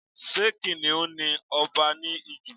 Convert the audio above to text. Ṣé kìnnìún ni ọba ní Ijù?